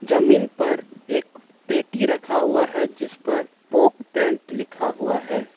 जमीन पर एक पेटी रखा हुआ है जिस पर पॉक पैंट लिखा हुआ है।